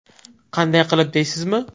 Qanday qilib deysizmi?